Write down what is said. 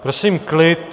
Prosím klid.